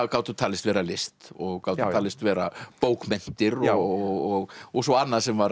gátu talist vera list og gátu talist vera bókmenntir og og svo annað sem var